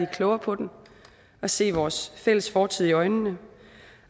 klogere på den og se vores fælles fortid i øjnene